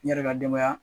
N yɛrɛ ka denbaya